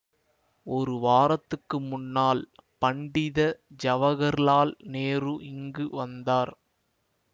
ஒரு வாரத்துக்கு முன்னால் பண்டித ஜவஹர்லால் நேரு இங்கு வந்தார்